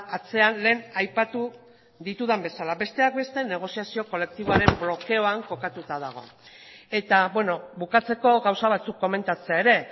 atzean lehen aipatu ditudan bezala besteak beste negoziazio kolektiboaren blokeoan kokatuta dago eta bukatzeko gauza batzuk komentatzea ere